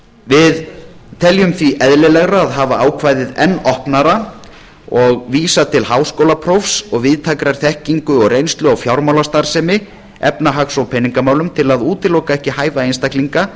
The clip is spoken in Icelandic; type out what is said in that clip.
við teljum því eðlilegra að hafa ákvæðið enn opnara og vísa til háskólaprófs og víðtækrar þekkingar og reynslu á fjármálastarfsemi efnahags og peningamálum til að útiloka ekki hæfa einstaklinga